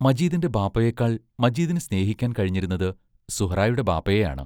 മജീദിന്റെ ബാപ്പായേക്കാൾ മജീദിനു സ്നേഹിക്കാൻ കഴിഞ്ഞിരുന്നത് സുഹ്റായുടെ ബാപ്പായെയാണ്.